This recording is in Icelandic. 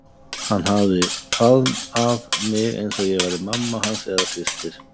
Hann hafði faðm- að mig eins og ég væri mamma hans eða systir.